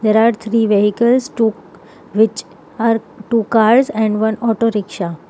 There are three vehicles took which are two cars and one auto rickshaw.